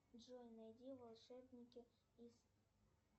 джой найди волшебники из